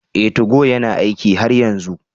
Ee, 2go yana aiki har yanzu